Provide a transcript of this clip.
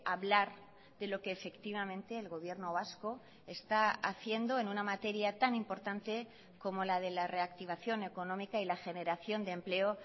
hablar de lo que efectivamente el gobierno vasco está haciendo en una materia tan importante como la de la reactivación económica y la generación de empleo